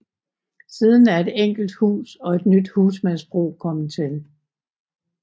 Siden er et enkelt hus og et nyt husmandsbrug kommet til